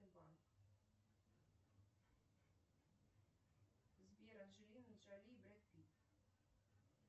сбер анджелина джоли и брэд питт